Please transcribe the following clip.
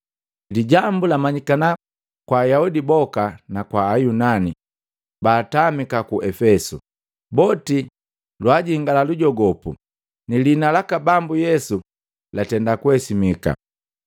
Lijambu lamanyikana kwa Ayaudi boka na Ayunani baatamika ku Epesu, boti lwaajingia lujogopu, ni lihina laka Bambu Yesu latenda kuhesimika.